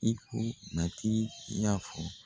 I ko matigi y'a fɔ